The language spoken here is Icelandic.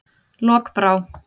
Lokbrá